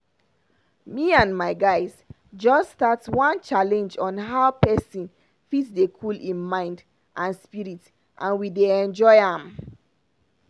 me and my guys just start one challenge on how pesin fit dey cool im mind and spirit and we dey enjoy am.